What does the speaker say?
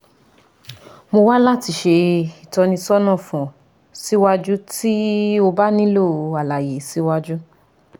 Mo wa lati ṣe itọnisọna fun ọ siwaju ti o ba nilo alaye siwaju